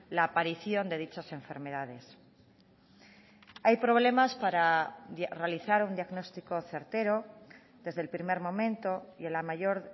la aparición de dichas enfermedades hay problemas para realizar un diagnóstico certero desde el primer momento y en la mayor